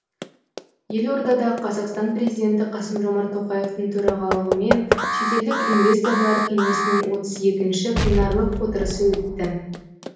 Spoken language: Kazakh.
елордада қазақстан президенті қасым жомарт тоқаевтың төрағалығымен шетелдік инвесторлар кеңесінің отыз екінші пленарлық отырысы өтті